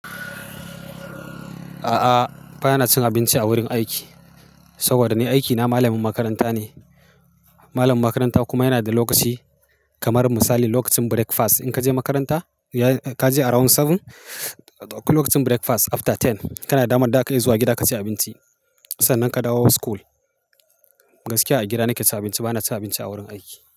A'a, ba na cin abinci a wurin aiki. Saboda ni aikina malamin makaranta ne. Malamin makaranta kuma yana da lokaci, kamar misali lokacin breakfast. In ka je makaranta, ka je around seven, duk lokacin breakfast after ten kana damar ka zuwa gida ka ci abinci. Sannan ka dawo school. Gaskiya a gida nake ci abinci, ba na ci abinci a wurin aiki.